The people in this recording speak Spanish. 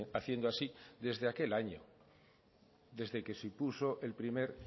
haciendo así desde aquel año desde que se impuso el primer